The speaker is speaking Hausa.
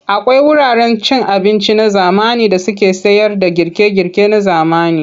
Akwai wuraren cin abinci na zamani da suke sayarda girke-girke na zamani.